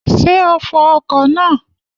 Ṣé o fọ ọkọ̀ náà?